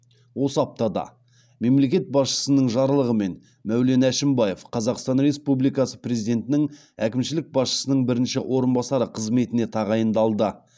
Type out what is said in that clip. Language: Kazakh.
осы аптада мемлекет басшысының жарлығымен мәулен әшімбаев қазақстан республикасы президентінің әкімшілік басшысының бірінші орынбасары қызметіне тағайындалды